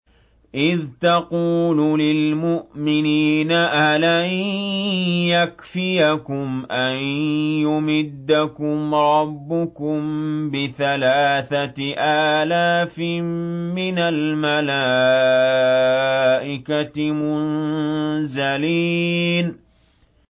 إِذْ تَقُولُ لِلْمُؤْمِنِينَ أَلَن يَكْفِيَكُمْ أَن يُمِدَّكُمْ رَبُّكُم بِثَلَاثَةِ آلَافٍ مِّنَ الْمَلَائِكَةِ مُنزَلِينَ